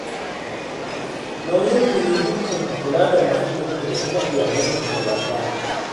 Nauyinku ne dukkanku kula da mahallinku da kuma iyalanku gabaɗaya